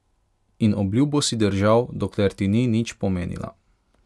In obljubo si držal, dokler ti ni nič pomenila.